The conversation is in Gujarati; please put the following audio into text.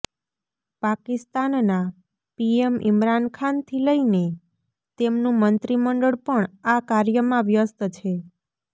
પાકિસ્તાનના પીએમ ઇમરાનખાનથી લઈને તેમનું મંત્રીમંડળ પણ આ કાર્યમાં વ્યસ્ત છે